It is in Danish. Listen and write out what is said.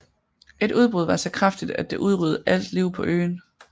Et udbrud var så kraftigt at det udryddede alt liv på øen